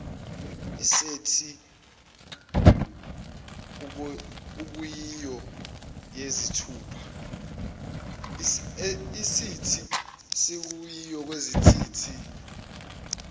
isethi okuyiyo yezithupha